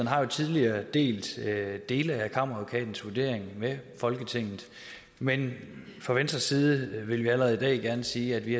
har jo tidligere delt dele af kammeradvokatens vurdering med folketinget men fra venstres side vil vi allerede i dag gerne sige at vi